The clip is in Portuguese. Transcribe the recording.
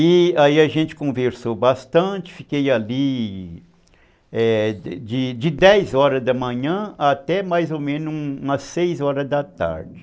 E aí a gente conversou bastante, fiquei ali de dez horas da manhã até mais ou menos umas seis horas da tarde.